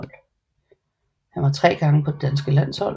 Han var tre gange på det danske landshold